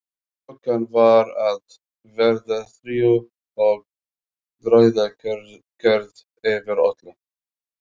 Klukkan var að verða þrjú og dauðakyrrð yfir öllu.